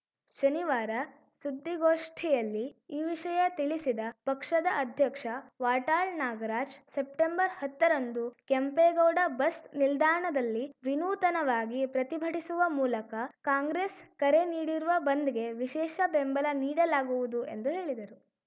ಶನಿವಾರ ಸುದ್ದಿಗೋಷ್ಠಿಯಲ್ಲಿ ಈ ವಿಷಯ ತಿಳಿಸಿದ ಪಕ್ಷದ ಅಧ್ಯಕ್ಷ ವಾಟಾಳ್‌ ನಾಗರಾಜ್‌ ಸೆಪ್ಟೆಂಬರ್ಹತ್ತ ರಂದು ಕೆಂಪೇಗೌಡ ಬಸ್‌ ನಿಲ್ದಾಣದಲ್ಲಿ ವಿನೂತನವಾಗಿ ಪ್ರತಿಭಟಿಸುವ ಮೂಲಕ ಕಾಂಗ್ರೆಸ್‌ ಕರೆ ನೀಡಿರುವ ಬಂದ್‌ಗೆ ವಿಶೇಷ ಬೆಂಬಲ ನೀಡಲಾಗುವುದು ಎಂದು ಹೇಳಿದರು